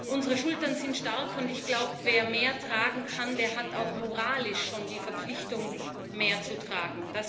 Unsere Schultern sind stark, und ich glaube, wer mehr tragen kann, der hat auch moralisch schon die Verpflichtung, mehr zu tragen.